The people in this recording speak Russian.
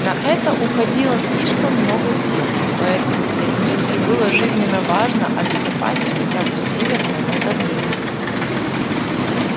на это уходило слишком много сил поэтому для них и было жизненно важно обезопасить хотя бы северное направление